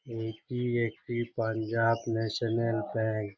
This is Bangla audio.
এটি একটি পাঞ্জাব ন্যাশনাল ব্যাঙ্ক ।